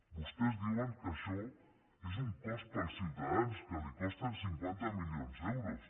vostès diuen que això és un cost per als ciutadans que li costa cinquanta milions d’euros